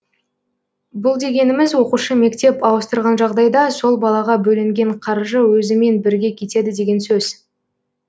бұл дегеніміз оқушы мектеп ауыстырған жағдайда сол балаға бөлінген қаржы өзімен бірге кетеді деген сөз